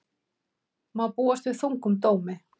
Má búast við þungum dómi